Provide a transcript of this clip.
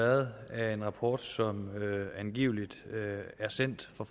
har været af en rapport som angiveligt er sendt fra